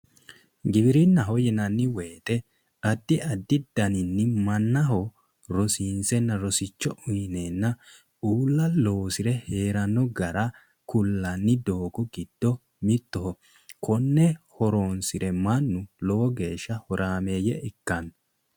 giwirinnaho yinanni woyte addi addi horo mannaho rosiinsenna rosicho uyineena ulla loosire heeranno gara kullanni doogo giddo mittoho konne horoonsire mannu lowo geeshsha horaameeyye ikkanno